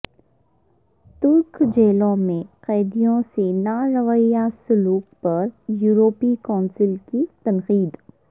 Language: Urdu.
ترک جیلوں میں قیدیوں سے ناروا سلوک پر یورپی کونسل کی تنقید